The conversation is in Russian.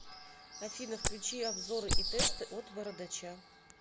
афина включи обзоры и тесты от бородоча